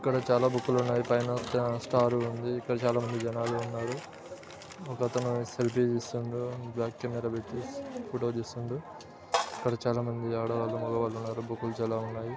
చాలా బుక్కులు ఉన్నాయి. పైన ఒక స్టార్ ఉంది. ఇక్కడ చాలామంది జనాలు ఉన్నారు. ఒకతను సెల్ఫీ తీస్తుండు. బ్యాక్ కెమెరా పెట్టి ఫోటో తీస్తుండు. ఇక్కడ చాలా మంది ఆడవాళ్లు మగవాళ్ళు ఉన్నారు. బుక్కులు చాలా ఉన్నాయి.